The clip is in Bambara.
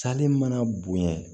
Sale mana bonɲa